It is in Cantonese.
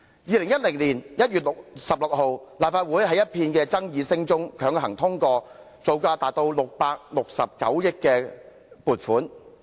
2010年1月16日，立法會在一片爭議聲中強行通過撥款，以進行造價高達669億元的高鐵工程。